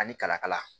Ani kalakala